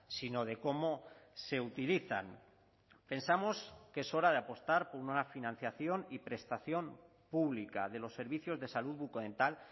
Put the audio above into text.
sino de cómo se utilizan pensamos que es hora de apostar por una financiación y prestación pública de los servicios de salud bucodental